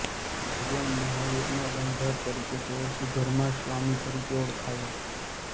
ભગવાન મહાવીરના ગણધર તરીકે તેઓ સુધર્માસ્વામી તરીકે ઓળખાયા